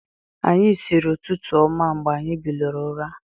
Anyị siiri ụtụtụ ọma mgbe anyi biliri ụra.